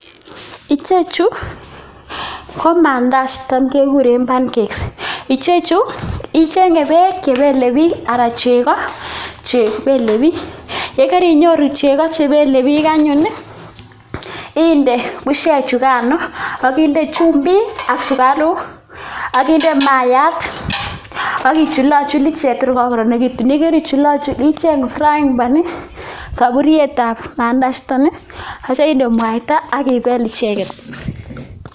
Icheju kotam keguren pancakes. Icheju icheng'e beek che belebiik anan chego che belebiik, ye karinyoru chego che belebiik anyun inde bushek chuganoak inde chumbik ak sugaruk ak inde maayat ak ichulochul icheg tor kagokoronito. Ye kerichulochul icheng frying pan soburietab pancakes ichuton ii ak kityo inde mwaita ak ibel icheget.